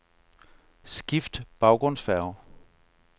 Skift baggrundsfarve.